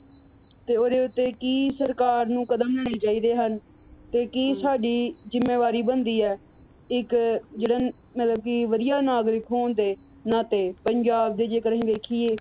ਤੇ ਉਹਦੇ ਉੱਤੇ ਕੀ ਸਰਕਾਰ ਨੂੰ ਕਦਮ ਚੁੱਕਣੇ ਚਾਹੀਦੇ ਹਨ ਤੇ ਕੀ ਸਾਡੀ ਜਿੰਮੇਵਾਰੀ ਬਣਦੀ ਹੈ। ਇਕ ਜਿਹੜੇ ਮਤਲਬ ਕੀ ਵਧੀਆ ਨਾਗਰਿਕ ਹੋਣ ਦੇ ਨਾਤੇ ਪੰਜਾਬ ਦੇ ਜੇਕਰ ਅਸੀ ਵੇਖੀਏ